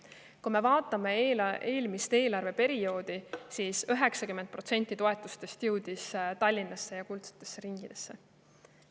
Kui me vaatame eelmist eelarveperioodi, siis 90% toetustest jõudis Tallinnasse ja kuldsetesse ringidesse.